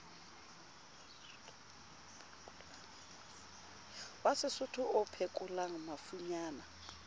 wa sesotho o phekolang mafunyana